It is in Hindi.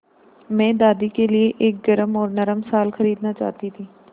मैं दादी के लिए एक गरम और नरम शाल खरीदना चाहती थी